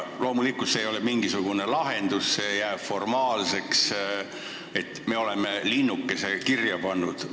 Loomulikult ei ole see mingisugune lahendus, see jääb formaalseks, me oleme linnukese kirja saanud.